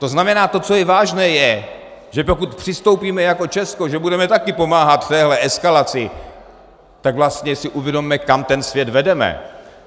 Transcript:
To znamená, to, co je vážné, je, že pokud přistoupíme jako Česko, že budeme taky pomáhat téhle eskalaci, tak vlastně si uvědomme, kam ten svět vedeme.